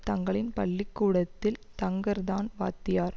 தங்களின் பள்ளி கூடத்தில் தங்கர் தான் வாத்தியார்